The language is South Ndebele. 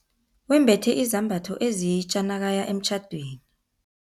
Wembethe izambatho ezitja nakaya emtjhadweni.